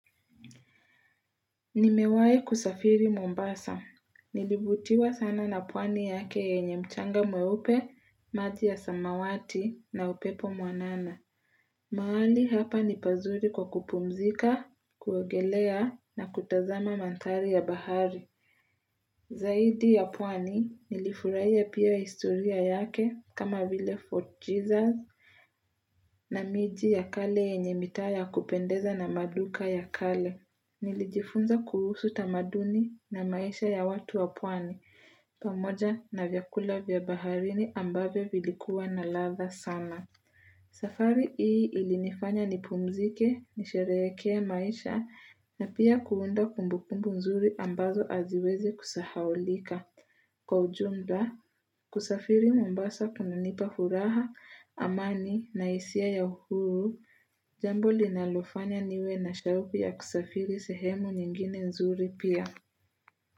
Nimewahi kusafiri Mombasa. Nilivutiwa sana na pwani yake yenye mchanga mweupe, maji ya samawati na upepo mwanana. Mahali hapa ni pazuri kwa kupumzika, kuogelea na kutazama manthari ya bahari. Zaidi ya pwani nilifuraia pia historia yake kama vile Fort Jesus na miji ya kale yenye mitaa ya kupendeza na maduka ya kale. Nilijifunza kuhusu tamaduni na maisha ya watu wa pwani, pamoja na vyakula vya baharini ambavyo vilikuwa na ladha sana. Safari hii ilinifanya nipumzike, nisherehekee maisha na pia kuunda kumbukumbu nzuri ambazo haziwezi kusahaulika. Kwa ujumba, kusafiri Mombasa kunanipa huraha, amani na hisia ya uhuru, jambo linalofanya niwe na shauku ya kusafiri sehemu nyingine nzuri pia.